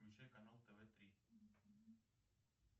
включай канал тв три